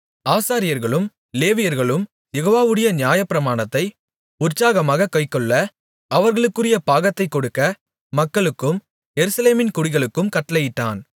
ஆசாரியர்களும் லேவியர்களும் யெகோவாவுடைய நியாயப்பிரமாணத்தை உற்சாகமாகக் கைக்கொள்ள அவர்களுக்குரிய பாகத்தைக் கொடுக்க மக்களுக்கும் எருசலேமின் குடிகளுக்கும் கட்டளையிட்டான்